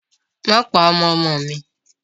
Má pa ọmọ ọmọ mi!